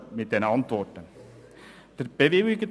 Die Antworten haben uns befriedigt.